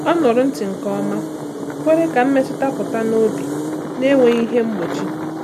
Ọ nụrụ ntị nke ọma, kwere ka mmetụta pụta n’obi n’enweghị ihe mgbochi.